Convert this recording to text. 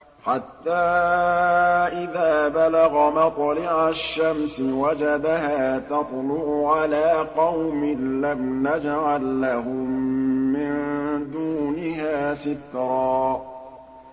حَتَّىٰ إِذَا بَلَغَ مَطْلِعَ الشَّمْسِ وَجَدَهَا تَطْلُعُ عَلَىٰ قَوْمٍ لَّمْ نَجْعَل لَّهُم مِّن دُونِهَا سِتْرًا